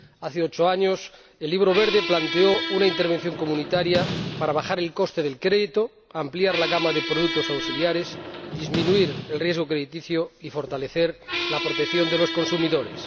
Hace ocho años el Libro Verde planteó una intervención comunitaria para bajar el coste del crédito, ampliar la gama de productos auxiliares, disminuir el riesgo crediticio y fortalecer la protección de los consumidores.